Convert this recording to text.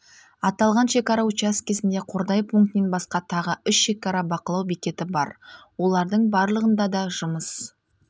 аталған шекара учаскесінде қордай пунктінен басқа тағы үш шекара бақылау бекеті бар олардың барлығында да жұмыс